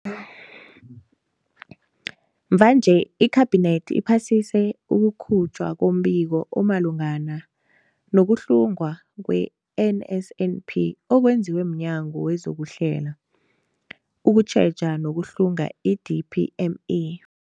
Mvanje, iKhabinethi iphasise ukukhutjhwa kombiko omalungana no-kuhlungwa kwe-NSNP okwenziwe mNyango wezokuHlela, ukuTjheja nokuHlunga, i-DPME.